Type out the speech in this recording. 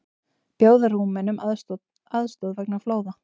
Bjóða Rúmenum aðstoð vegna flóða